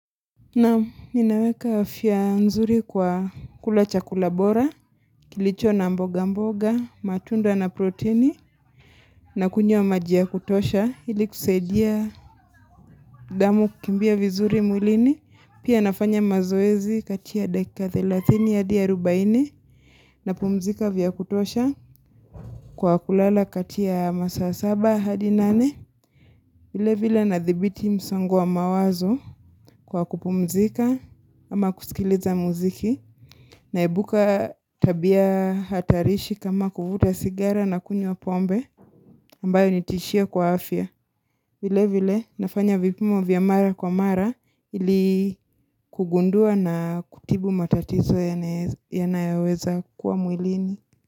Naam, ninaweka afya nzuri kwa kula chakula bora, kilicho na mboga mboga, matunda na proteini, na kunywa maji ya kutosha, ili kusaidia damu kukimbia vizuri mwilini, pia nafanya mazoezi katia dakika 30 ya hadi ya 40, na pumzika vya kutosha, kwa kulala katia masaa 7 hadi 8, vile vile na thibiti msongo wa mawazo kwa kupumzika ama kusikiliza muziki naibuka tabia hatarishi kama kuvuta sigara na kunywa pombe ambayo nitishia kwa afya. Vile vile nafanya vipimo vya mara kwa mara ili kugundua na kutibu matatizo yanayoweza kwa mwilini.